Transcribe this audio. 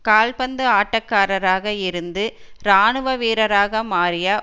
கால் பந்து ஆட்டக்காரராக இருந்து இராணுவ வீரராக மாறிய